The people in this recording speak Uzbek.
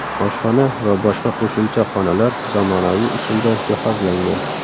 Oshxona va boshqa qo‘shimcha xonalar zamonaviy usulda jihozlangan.